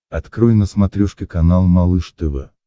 открой на смотрешке канал малыш тв